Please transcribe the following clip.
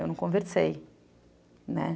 Eu não conversei, né.